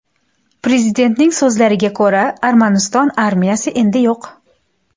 Prezidentning so‘zlariga ko‘ra, Armaniston armiyasi endi yo‘q.